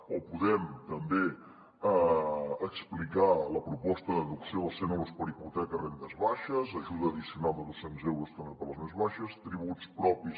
o podem també explicar la proposta de deducció dels cent euros per a hipoteques a rendes baixes ajuda addicional de dos cents euros també per a les més baixes tributs propis